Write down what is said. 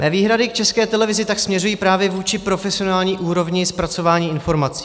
Mé výhrady k České televizi tak směřují právě vůči profesionální úrovni zpracování informací.